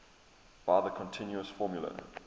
by the continuous formula